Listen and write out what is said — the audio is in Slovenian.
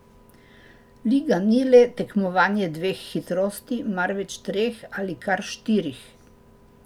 Liga ni le tekmovanje dveh hitrosti, marveč treh ali kar štirih.